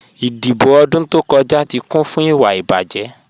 Idíbò̀ odún tó kọja tí kún fún ìwà ìbájẹ́.